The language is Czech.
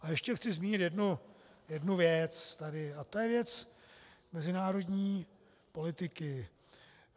A ještě chci zmínit jednu věc tady a to je věc mezinárodní politiky.